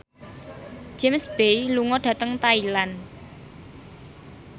James Bay lunga dhateng Thailand